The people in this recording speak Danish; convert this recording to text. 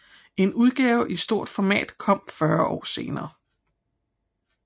En udgave i stort format kom 40 år senere